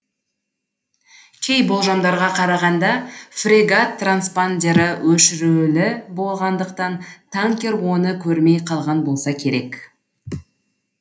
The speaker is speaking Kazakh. кей болжамдарға қарағанда фрегат транспандеры өшірулі болғандықтан танкер оны көрмей қалған болса керек